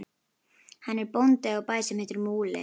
Hann er bóndi á bæ sem heitir Múli.